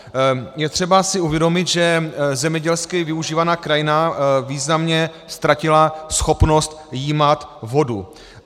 Je třeba si uvědomit, že zemědělsky využívaná krajina významně ztratila schopnost jímat vodu.